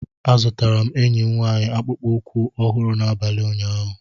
Azụtara m enyi m nwaanyị akpụkpọ ụkwụ ọhụrụ n'abalị ụnyaahụ